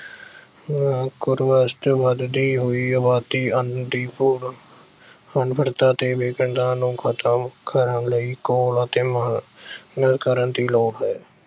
ਚ ਵਧਦੀ ਹੋਈ ਅਬਾਦੀ, ਅੰਨ ਦੀ ਥੋੜ, ਅਨਪੜ੍ਹਤਾ ਤੇ ਨੂੰ ਖਤਮ ਕਰਨ ਲਈ ਘੋਲ ਅਤੇ ਮੰਗ ਕਰਨ ਦੀ ਲੋੜ ਹੈ